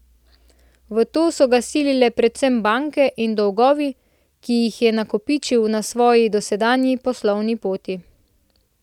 V to so ga silile predvsem banke in dolgovi, ki jih je nakopičil na svoji dosedanji poslovni poti.